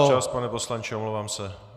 Váš čas, pane poslanče, omlouvám se.